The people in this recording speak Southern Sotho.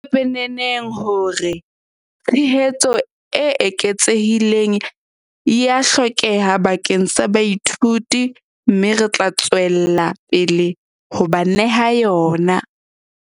Ho pepeneneng hore tshehetso e eketsehileng ea hlokeha bakeng sa baithuti mme re tla tswella pele ho ba neha yona.